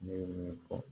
Ne ye min fɔ